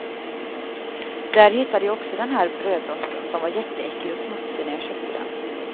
Där hittade jag också den här brödrosten, som var jätteäcklig och smutsig när jag köpte den.